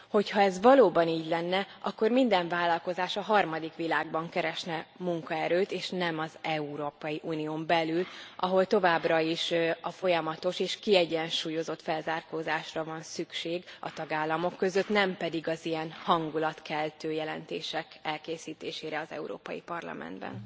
Hogyha ez valóban így lenne, akkor minden vállalkozás a harmadik világban keresne munkaerőt és nem az Európai Unión belül, ahol továbbra is a folyamatos és kiegyensúlyozott felzárkózásra van szükség a tagállamok között, nem pedig az ilyen hangulatkeltő jelentések készítésére az Európai Parlamentben.